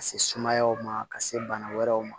Ka se sumayaw ma ka se bana wɛrɛw ma